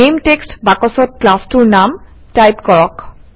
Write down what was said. নামে টেক্সট বাকচত ক্লাছটোৰ নাম টাইপ কৰক